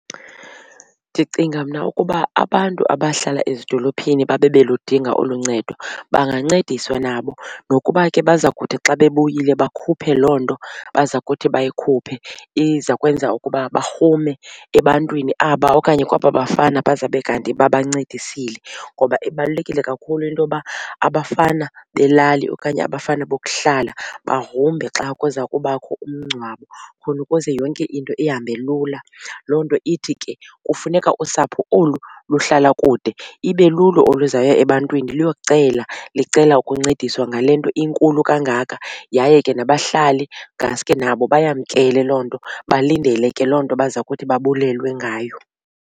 Ndicinga mna ukuba abantu abahlala ezidolophini babe beludinga olu ncedo bangancediswa nabo nokuba ke baza kuthi xa bebuyile bakhuphe loo nto baza kuthi bayikhuphe iza kwenza ukuba barhume ebantwini aba okanye kwaba bafana bazawube kanti babancedisile. Ngoba ibalulekile kakhulu into yoba abafana belali okanye abafana bokuhlala bagrumbe xa kuza kubakho umngcwabo khona ukuze yonke into ihambe lula. Loo nto ithi ke kufuneka usapho olu luhlala kude ibe lulo oluzaya ebantwini luyocela licela ukuncediswa ngale nto inkulu kangaka. Yaye ke nabahlali ngaske nabo bayamkele loo nto balindele ke loo nto baza kuthi babulelwe ngayo.